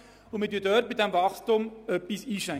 Wir schränken dieses Wachstum etwas ein.